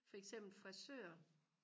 for eksempel frisør